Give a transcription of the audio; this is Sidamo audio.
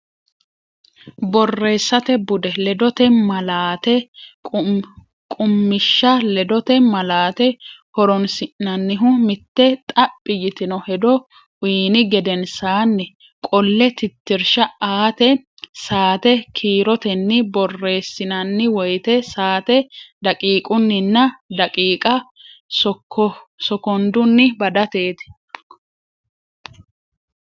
Borreessate Bude: Ledote Malaate Qummishsha Ledote malaate horonsi’nannihu: mitte xaphi yitino hedo uyni gedensaanni qolle tittirsha aate, saate kiirotenni borreessinanni woyte saate daqiiqunninna daqiiqa sokondunni badateeti.